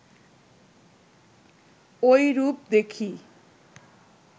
ঐরূপ দেখি